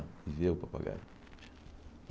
E ver o papagaio.